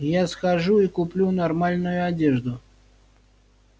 я схожу и куплю нормальную одежду